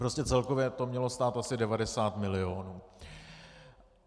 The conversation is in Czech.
Prostě celkově to mělo stát asi 90 milionů.